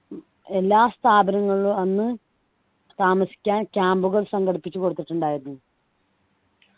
ഉം എല്ലാ സ്ഥാപനങ്ങളും അന്ന് താമസിക്കാൻ camp കൾ സംഘടിപ്പിച്ചു കൊടുത്തിട്ടുണ്ടായിരുന്നു